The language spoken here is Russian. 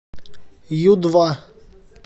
ю два